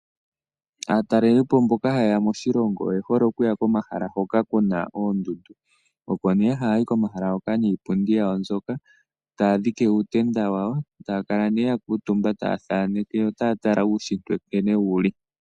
Aataleli po mboka hayeya moshilongo oye hole okuha komahala hoka kuna oondundu, oko ne haya yi komahala hoka niipundi yawo mbyoka taya dhike uutenda wawo, taya kala ne yakuutumba taya thaaneke yotayatala uunshitwe nkene wuli.